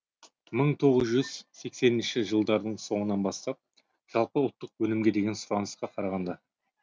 мың тоғыз жүз сексенінші жылдарға қарап жылдардың соңынан бастап жалпы ұлттық өнімге деген сұранысқа қарағанда